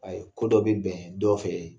Ayi ko dɔ bɛ bɛn dɔ fɛ